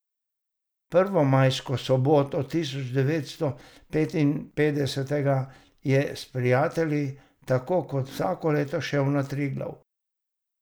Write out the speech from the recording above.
Prvo majsko soboto tisoč devetsto petinpetdesetega je s prijatelji tako kot vsako leto šel na Triglav.